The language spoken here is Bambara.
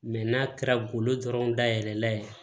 n'a kɛra golo dɔrɔn dayɛlɛ la ye